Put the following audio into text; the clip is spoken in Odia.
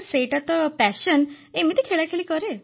ସାର୍ ସେଇଟା ତ ଆଗ୍ରହ ଏମିତି ଖେଳାଖେଳି କରେ